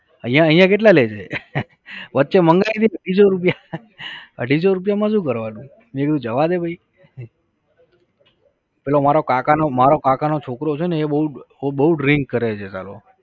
અહિયાં અહિયાં કેટલા લે છે? વચ્ચે મંગાવી હતી અઢીસો રૂપિયા અઢીસો રૂપિયા માં શું કરવાનું? મેં કીધું જવા દે ભઈ. પેલો મારો કાકાનો મારો કાકાનો છોકરો છેને એ બોવ બોવ Drink કરે છે સાલો